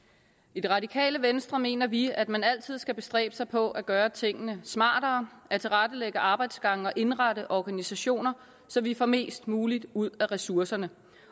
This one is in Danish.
i det radikale venstre mener vi at man altid skal bestræbe sig på at gøre tingene smartere at tilrettelægge arbejdsgange og indrette organisationer så vi får mest muligt ud af ressourcerne